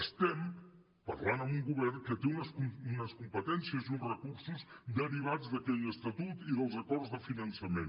estem parlant amb un govern que té unes competències i uns recursos derivats d’aquell estatut i dels acords de finançament